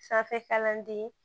Sanfɛ kalanden